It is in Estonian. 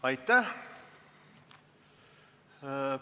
Aitäh!